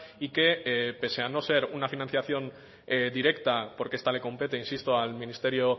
y que pese a no ser una financiación directa porque esta le compete insisto al ministerio